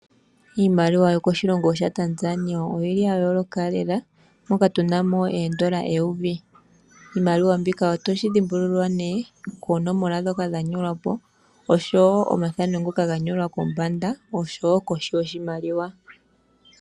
Iimaliwa yokoshilongo shaTanzania oyili ya yooloka lela, moka tunamo eendola eyovi. Iimaliwa mbika otoshi dhimbulula nee koonomola dhoka dha nyolwa po, osho wo omathano ngoka ganyolwa kombanda, osho wo koshi yoshimaliwa.